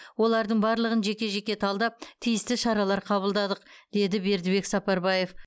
олардың барлығын жеке жеке талдап тиісті шаралар қабылдадық деді бердібек сапарбаев